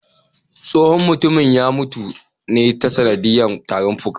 Tsohon mutumin ya mutu ta sanadiya tarin fuka